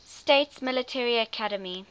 states military academy